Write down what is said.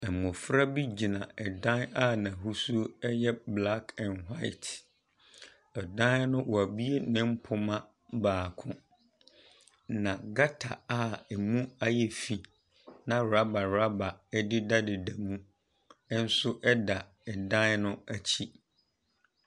Mmɔfra bi gyina ɛdan a n'ahosuo yɛ black an white. Ɛdan no wɔabue ne mpoma baako, na gutter a ɛmu ayɛ fi, na rubber rubber dedadeda mu nso da dan no akyi.